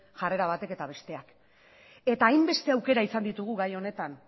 jarrera batek eta besteak eta hainbeste aukera izan ditugu gai honetan